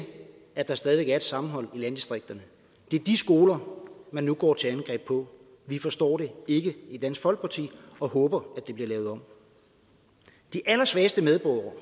at der stadig væk er et sammenhold i landdistrikterne det er de skoler man nu går til angreb på vi forstår det ikke i dansk folkeparti og håber at det bliver lavet om de allersvageste medborgere